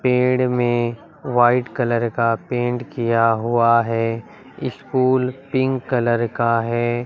पेड़ में white colour का पेंट किया हुआ हैं स्कूल पिंक कलर का है।